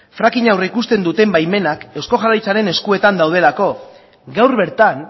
fracking a aurreikusten duten baimenak eusko jaurlaritzaren eskuetan daudelako gaur bertan